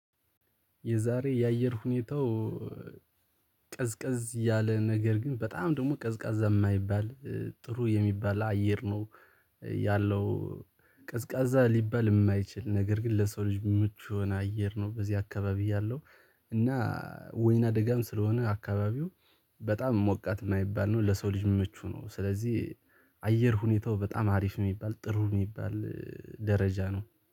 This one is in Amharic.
የዛሬ የአየር ሁኔታው ቀዝቀዝ ያለ ነገር ግን በጣም ደግሞ ቀዝቃዛ የማይባል ጥሩ የሚባል አየር ነው ያለው ቀዝቃዛ ሊባል የማይችል ነገር ግን ለሰው ልጅ ምቹ የሆነ አየር ነው። በዚህ አካባቢ ያለው። እና ወይና ደጋም ስለሆነ አካባቢው በጣም ሞቃት የማይባል ነው ለሰው ልጅ ምቹ ነው። ስለዚህ አየር ሁኔታው በጣም አሪፍ የሚባል ጥሩ የሚባል ደረጃ ነው